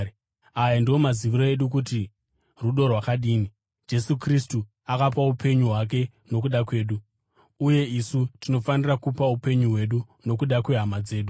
Aya ndiwo maziviro edu kuti rudo rwakadini: Jesu Kristu akapa upenyu hwake nokuda kwedu. Uye isu tinofanira kupa upenyu hwedu nokuda kwehama dzedu.